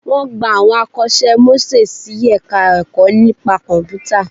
Wọ́n gba àwọn akọ́ṣẹ́ mọṣẹ́ sí Ẹ̀ka-ẹ̀kọ́ nípa Kọ̀m̀pútà